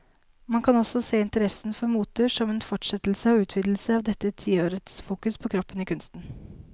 Man kan også se interessen for moter som en fortsettelse og utvidelse av dette tiårets fokus på kroppen i kunsten.